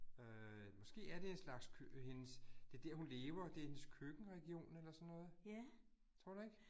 Øh måske er det en slags hendes, det der hun lever. Det hendes køkkenregion eller sådan noget, tror du ikke?